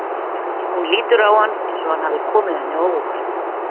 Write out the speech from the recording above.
Hún lítur á hann eins og hann hafi komið henni á óvart.